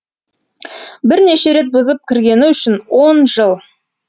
бірнеше рет бұзып кіргені үшін он жыл